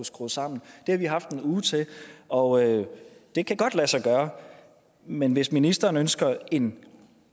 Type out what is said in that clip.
skrues sammen det har vi haft en uge til og det kan godt lade sig gøre men hvis ministeren ønsker en